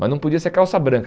Mas não podia ser calça branca.